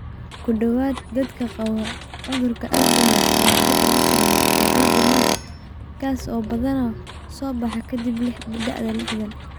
Ku dhowaad dhammaan dadka qaba cudurka Alzheimers ayaa dib ugu soo laabtay Alzheimers, kaas oo badanaa soo baxa ka dib da'da liixdhaan.